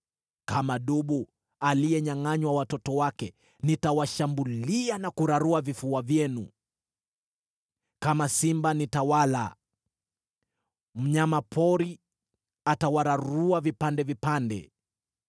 Kama dubu aliyenyangʼanywa watoto wake, nitawashambulia na kurarua vifua vyenu. Kama simba nitawala; mnyama pori atawararua vipande vipande.